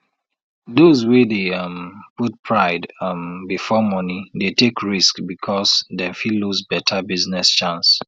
those wey dey um put pride um before monie dey take risk because dem fit lose better business chance